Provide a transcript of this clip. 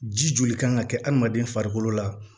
Ji joli kan ka kɛ adamaden farikolo la